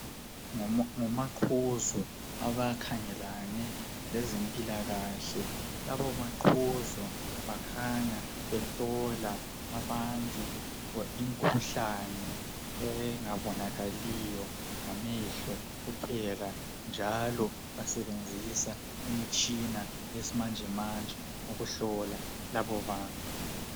Ngomaqhuzu abakhangelane lezempilakahhle. Labomaqhuzu bakhanya behlola abantu imikhuhlane engabonakaliyo ngamehlo kuphela, njalo basebenzisa imitshina yesimanjemanje, ukuhlola laboratory.